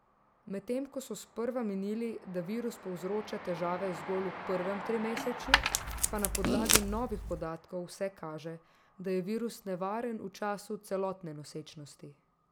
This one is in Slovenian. Medtem ko so sprva menili, da virus povzroča težave zgolj v prvem trimesečju, pa na podlagi novih podatkov vse kaže, da je virus nevaren v času celotne nosečnosti.